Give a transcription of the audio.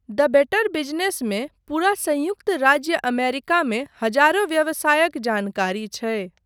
द better बिजनेसमे पूरा संयुक्त राज्य अमेरिकामे हजारो व्यवसायक जानकारी छै।